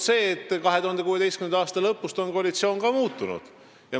See, et 2016. aasta lõpust on koalitsioon muutunud.